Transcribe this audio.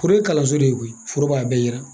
Foro ye kalanso de ye koyi foro b'a a bɛɛ yira.